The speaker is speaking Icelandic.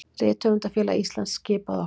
Rithöfundafélag Íslands skipaði okkur